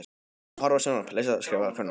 Menn að horfa á sjónvarp, lesa, skrifa, prjóna.